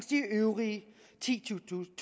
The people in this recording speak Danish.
de øvrige titusind